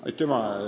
Aitüma!